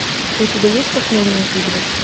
у тебя есть похмельные игры